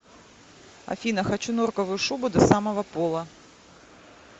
афина хочу норковую шубу до самого пола